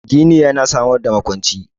Gini yana samar da makwanci